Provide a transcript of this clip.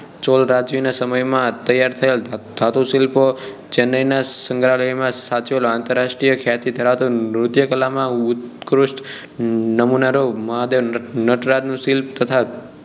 ચૌલરાજ્ય ના સમય માં તૈયાર થયેલ ધાતુશિલ્પો ચેન્નાઇ ના સંગ્રહાલયો માં સાંચવેલ આંતરાષ્ટ્રીય ખ્યાતિ ધરાવતું લુઢયકલા માં ઉત્કૃષ્ટ નમુના નું મહાદેવ ન~નટરાજ નું શિલ્પ તથા